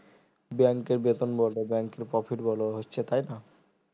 bank এর বেতন বলো bank এর profit হচ্ছে তাই না